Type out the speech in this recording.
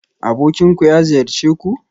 Abokinku ya ziyarce ku?